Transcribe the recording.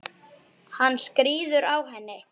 Hann skríður á henni.